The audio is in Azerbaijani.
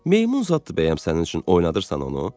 Meymun zad bəyəm sənin üçün oynadırsan onu?